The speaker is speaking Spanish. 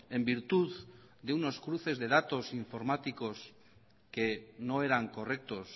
en virtud de unos cruces de datos informáticos que no eran correctos